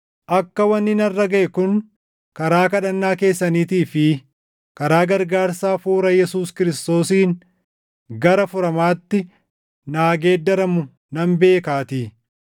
akka wanni narra gaʼe kun karaa kadhannaa keessaniitii fi karaa gargaarsa Hafuura Yesuus Kiristoosiin gara furamaatti naa geeddaramu nan beekaatii.